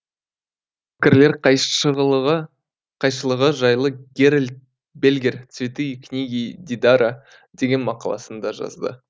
пікірлер қайшылығы жайлы герольд бельгер цветы и книги дидара деген мақаласында жазды